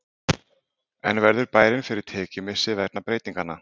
En verður bærinn fyrir tekjumissi vegna breytinganna?